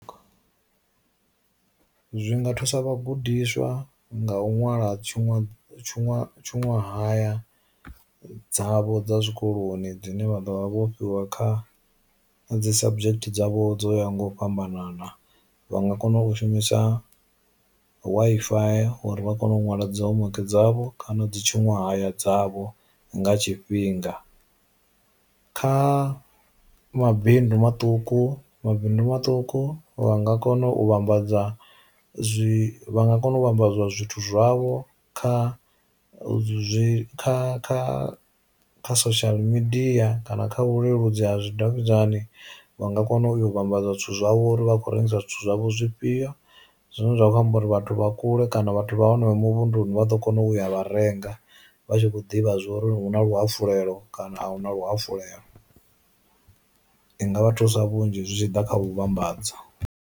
Zwinga thusa vha gudiswa nga u ṅwala tshuṅwa tshuṅwa haya dzavho dza zwikoloni dzine vha ḓo vha vhofhiwa kha dzi subject dzavho dzo yaho nga u fhambanana, vha nga kona u shumisa Wi-Fi uri vha kone u nwala dzi home weke dzavho kana u dzi tshuṅwa haya dzavho nga tshifhinga. Kha mabindu maṱuku mabindu maṱuku vha nga kona u vhambadza zwi vha nga kona u vhambadza zwithu zwavho kha zwi kha kha kha social media kana kha vhuleludzi ha zwi davhidzani vha nga kona u yo vhambadza zwithu zwavho uri vha khou rengisa zwithu zwavho zwifhio, zwine zwa khou amba uri vhathu vha kule kana vhathu vha hanefho muvhunḓuni vha ḓo kona u ya vha renga vha tshi vho ḓivha zwa uri huna luhafulelo kana a huna luhafulelo, i nga vha thusa vhunzhi zwi tshi ḓa kha vhuvhambadzo.